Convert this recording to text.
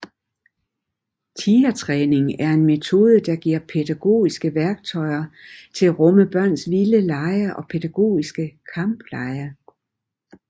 Tigertræning er en metode der giver pædagogiske værktøjer til at rumme børns vilde lege og pædagogiske kamplege